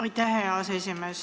Aitäh, hea aseesimees!